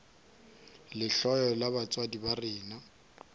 lehloyo la batswadi ba rena